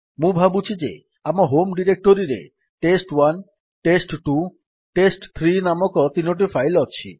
ମୁଁ ଭାବୁଛି ଯେ ଆମ ହୋମ୍ ଡିରେକ୍ଟୋରୀରେ ଟେଷ୍ଟ1 ଟେଷ୍ଟ2 ଟେଷ୍ଟ3 ନାମକ ତିନୋଟି ଫାଇଲ୍ ଅଛି